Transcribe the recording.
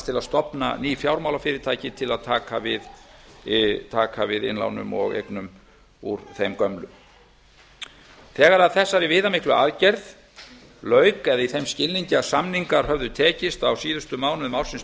til að stofna ný fjármálafyrirtæki til að taka við innlánum og eignum úr þeim gömlu þegar þessari viðamiklu aðgerð lauk eða í þeim skilningi að samningar höfðu tekist á síðustu mánuðum ársins tvö